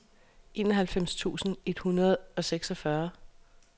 enoghalvfems tusind et hundrede og seksogfyrre